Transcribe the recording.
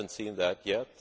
I have not seen that yet.